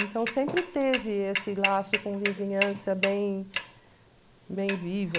Então sempre teve esse laço com vizinhança bem bem vivo.